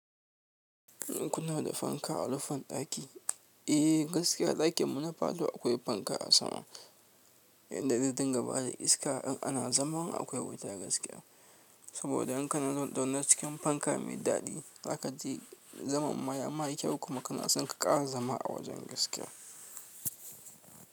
Kuna da fanka a rufin ɗaki? Eh gaskiya ɗakin mu na falo akwai fanka a sama inda zai dinga ba da iska in ana zama akwai wuta gaskiya. Saboda in kana zaune cikin fanka mai daɗi za ka ji zaman maya ma kyau kuma kana son ka ƙara zama a wajen gaskiya.